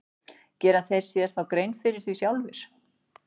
Gera þeir sér þá grein fyrir því sjálfir?